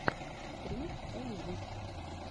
три экзист